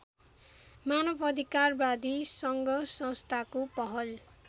मानवअधिकारवादी सङ्घसंस्थाको पहल